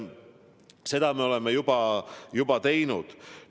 Seda me oleme juba teinud.